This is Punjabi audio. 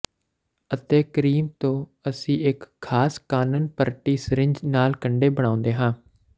ਅਤੇ ਕਰੀਮ ਤੋਂ ਅਸੀਂ ਇੱਕ ਖਾਸ ਕਾਨਨਪਰਟੀ ਸਰਿੰਜ ਨਾਲ ਕੰਡੇ ਬਣਾਉਂਦੇ ਹਾਂ